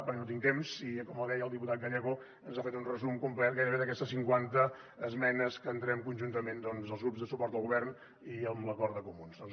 perquè no tinc temps i com deia el diputat gallego ens ha fet un resum complet gairebé d’aquestes cinquanta esmenes que entrem conjuntament els grups de suport al govern i amb l’acord de comuns